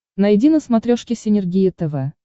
найди на смотрешке синергия тв